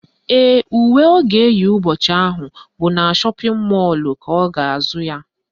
Ee, uwe ọ ga-eyi ụbọchị ahụ bụ na shọpịn mọlụ ka ọ ga-azụ ya